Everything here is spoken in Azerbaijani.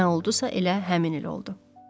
Nə oldusa elə həmin il oldu.